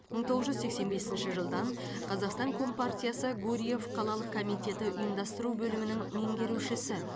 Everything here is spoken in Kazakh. мың тоғыз жүз сексен бесінші жылдан қазақстан компартиясы гурьев қалалық комитеті ұйымдастыру бөлімінің меңгерушісі